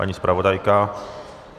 Paní zpravodajka?